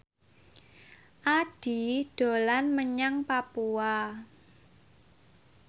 Addie dolan menyang Papua